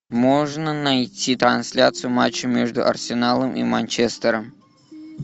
можно найти трансляцию матча между арсеналом и манчестером